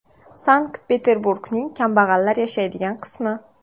Sankt-Peterburgning kambag‘allar yashaydigan qismi.